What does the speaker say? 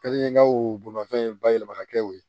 Ka di n ye n ka o bolimanfɛn bayɛlɛma ka kɛ o ye